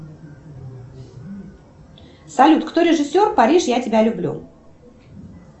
салют кто режиссер париж я тебя люблю